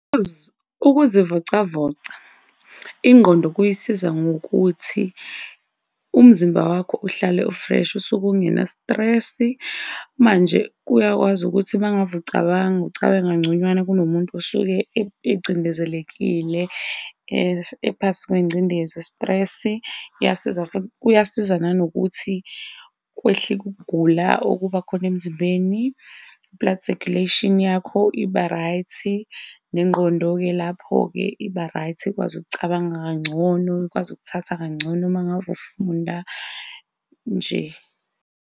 Ukuzivocavoca ingqondo kuyisiza ngokuthi umzimba wakho uhlale u-fresh, usuke ungena stress-i manje kuyakwazi ukuthi ucabanga, ucabange kangconywana kunomuntu osuke engcindezelekile ephasi kwengcindezi i-stress-i. Kuyasiza futhi, kuyasiza nanokuthi kwehlike ukugula okuba khona emzimbeni. I-blood circulation yakho iba-right, nengqondo-ke lapho iba-right, ikwazi ukucabanga kangcono, ikwazi ukuthatha kangcono uma ngave ufunda nje.